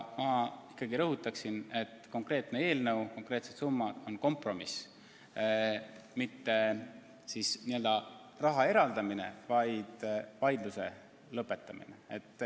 Ma ikkagi rõhutan, et konkreetne eelnõu, konkreetsed summad on kompromiss – mitte niisama raha eraldamine, vaid vaidluse lõpetamine.